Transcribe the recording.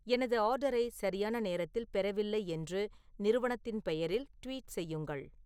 எனது ஆர்டரை சரியான நேரத்தில் பெறவில்லை என்று நிறுவனத்தின் பெயரில் ட்வீட் செய்யுங்கள்